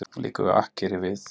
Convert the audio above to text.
Liggur við akkeri við